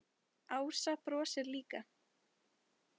Ása brosir líka.